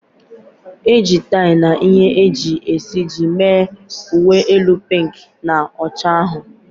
E ji tie na ihe e ji esiji mee uwe elu pink na ọcha ahụ.